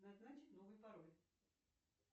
назначить новый пароль